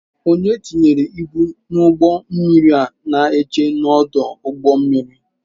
Onye tinyere ibu n'ụgbọ mmiri na-eche n'ọdụ ụgbọ mmiri.